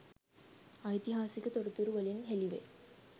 ඓතිහාසික තොරතුරු වලින් හෙළි වේ.